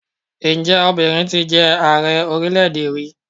Ǹjẹ́ obìnrin ti jẹ Ààrẹ orílẹ̀-èdè rí?